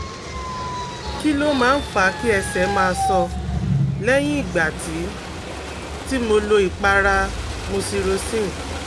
Kí ló máa ń fa kí ẹsẹ̀ máa so lẹ́yìn ìgbà tí tí mo lo ìpara Mupirocin?